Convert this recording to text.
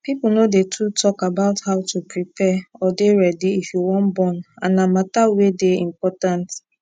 people no dey too talk about how to prepare or dey ready if you wan born and na matter weydey important